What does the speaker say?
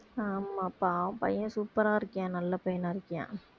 ஆமாப்பா பையன் super ஆ இருக்கியான் நல்ல பையனா இருக்கியான்